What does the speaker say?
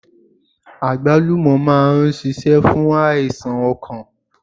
Àgbálùmọ̀ máa n sisé fún àìsàn okàn